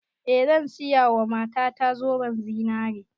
Eh zan siya wa mata ta zoben zinare